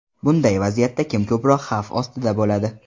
Bunday vaziyatda kim ko‘proq xavf ostida bo‘ladi?